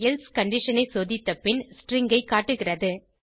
else condition ஐ சோதித்த பின் ஸ்ட்ரிங் ஐ காட்டுகிறது